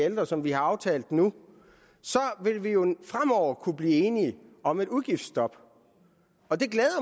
ældre som vi har aftalt nu så vil vi jo fremover kunne blive enige om et udgiftsstop og det glæder